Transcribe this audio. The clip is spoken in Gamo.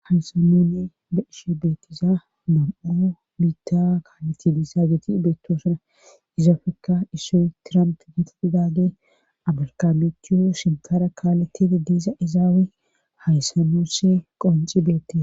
haysamoone beishe beettiza mam7u biitta kaaleti diissa geti beettosuna izaafekka issoy tiramp neti didage abalkamechuo sintara kaaletidi diisa izaawe hayssanoss qonci beette